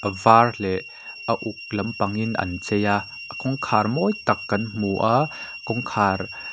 a var leh a uk lampang in an chei a a kawngkhar mawi tak kan hmu a kawngkhar--